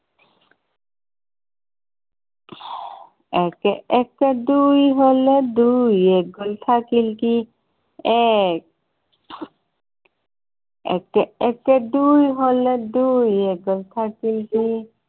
একে একে দুই হলে, দুইৰ এক গল থাকিল কি? এক একে একে দুই হলে, দুইৰ এক গল থাকিল কি?